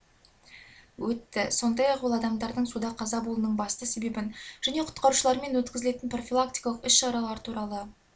өтті сондай-ақ ол адамдардың суда қаза болуының басты себебін және құтқарушылармен өткізілетін профилактикалық іс-шаралар туралы